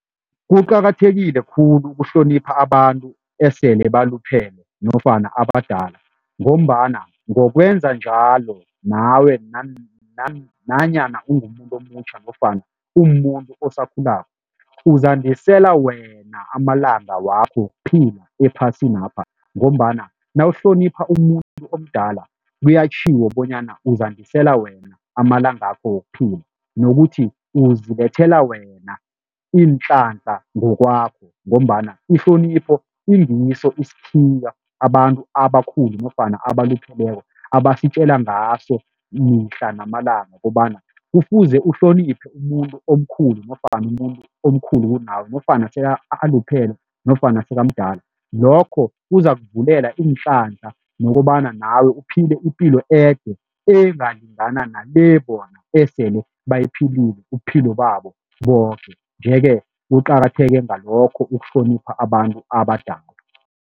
Kuqakathekile khulu ukuhlonipha abantu esele baluphele nofana abadala ngombana ngokwenza njalo nawe nanyana ungumuntu omutjha nofana umuntu osakhulako, uzandisela wena amalanga wakho wokuphila ephasinapha ngombana nawuhlonipha umuntu omdala kuyatjhiwo bonyana uzandisela wena amalangako wokuphila nokuthi uzibethela wena iinhlanhla ngokwakho ngombana ihlonipho ingiso isikhiya abantu abakhulu nofana abalupheleko abasitjela ngaso mihla namalanga ukobana kufuze uhloniphe umuntu omkhulu nofana umuntu omkhulu kunawe nofana sebaluphele nofana sekamdala lokho, kuzakuvulela iinhlanhla nokobana nawe uphile ipilo ede engalingana nale bona esele bayiphilile ubuphilo babo boke nje-ke, kuqakatheke ngalokho ukuhlonipha abantu abadala.